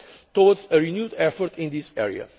us all towards a renewed effort in this